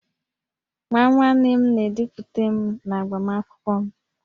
Nwa nwanne m na-edupụta m n'agbamakwụkwọ m